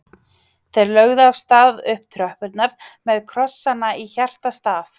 Þeir lögðu af stað upp tröppurnar með krossana í hjartastað.